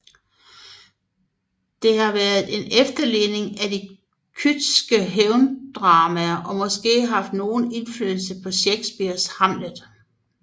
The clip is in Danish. Det har været en efterligning af de Kydske hævndramaer og måske haft nogen indflydelse på Shakespeares Hamlet